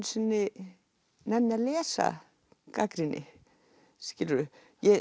sinni nenni að lesa gagnrýni skilurðu